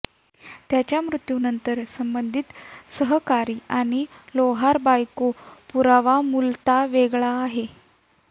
त्याच्या मृत्यूनंतर संबंधित सहकारी आणि लोहार बायको पुरावा मूलतः वेगळे आहेत